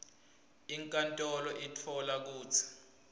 inkantolo itfola kutsi